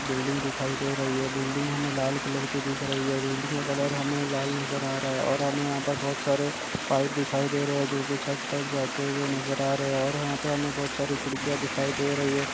Building दिखाई दे रही है बिल्डिंग हमें लाल कलर की दिख रही हैं बिल्डिंग का कलर हमें लाल नजर आ रहा है और हमे यहाँ पर बहुत सारे पाइप दिखाई दे रहे हैं जो की छत तक जाते हुए नजर आ रहे हैं और यहाँ पर हमें बहुत सारी खिड़कियां दिखाई दे रही हैं।